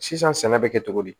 Sisan sɛnɛ bɛ kɛ cogo di